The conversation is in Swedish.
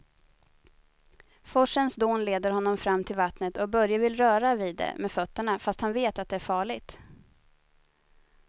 Forsens dån leder honom fram till vattnet och Börje vill röra vid det med fötterna, fast han vet att det är farligt.